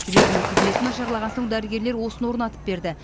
жүрегінің қызметі нашарлаған соң дәрігерлер осыны орнатып берді